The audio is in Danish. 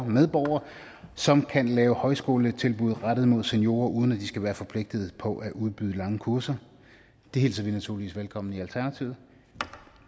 medborgere som kan lave højskoletilbud rettet mod seniorer uden at de skal være forpligtet på at udbyde lange kurser det hilser vi naturligvis velkommen i alternativet